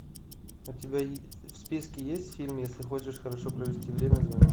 у тебя в списке есть фильм если хочешь хорошо провести время звони